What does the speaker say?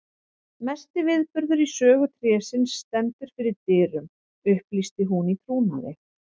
Mesti viðburður í sögu trésins stendur fyrir dyrum upplýsti hún í trúnaði.